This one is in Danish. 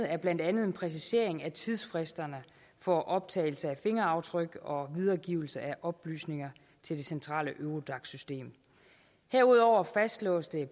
er blandt andet en præcisering af tidsfristerne for optagelse af fingeraftryk og videregivelse af oplysninger til det centrale eurodac system herudover fastslås det